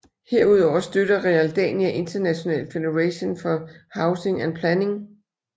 Herudover støtter Realdania International Federation for Housing and Planning